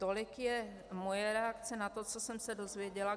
Tolik je moje reakce na to, co jsem se dozvěděla.